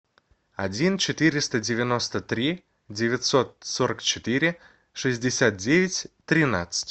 один четыреста девяносто три девятьсот сорок четыре шестьдесят девять тринадцать